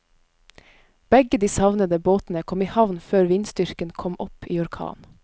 Begge de savnede båtene kom i havn før vindstyrken kom opp i orkan.